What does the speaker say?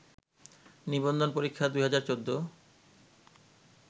নিবন্ধন পরীক্ষা ২০১৪